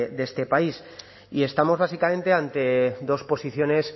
de este país y estamos básicamente ante dos posiciones